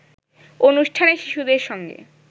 অনুষ্ঠানে শিশুদের সঙ্গে